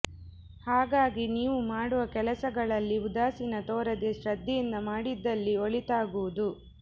ಹಾಗಾಗಿ ನೀವು ಮಾಡುವ ಕೆಲಸಗಳಲ್ಲಿ ಉದಾಸೀನ ತೋರದೆ ಶ್ರದ್ಧೆಯಿಂದ ಮಾಡಿದಲ್ಲಿ ಒಳಿತಾಗುವುದು